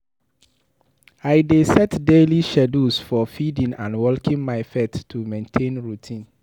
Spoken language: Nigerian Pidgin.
I dey set daily schedules for feeding and walking my pet to maintain routine.